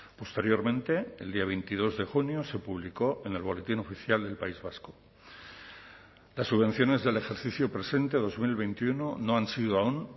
posteriormente el día veintidós de junio se publicó en el boletín oficial del país vasco las subvenciones del ejercicio presente dos mil veintiuno no han sido aún